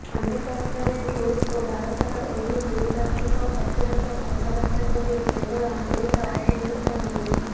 ଅନ୍ୟପକ୍ଷରେ ରୁଷ୍ ଓ ଭାରତର ଏହି ଦ୍ବିପାକ୍ଷିକ ପ୍ରତିରକ୍ଷା କଥାବାର୍ତ୍ତାକୁ ନେଇ କେବଳ ଆମେରିକା ଅସନ୍ତୁଷ୍ଟ ନାହିଁ